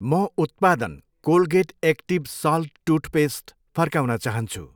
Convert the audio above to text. म उत्पादन Colgate active salt toothpaste फर्काउन चाहन्छु।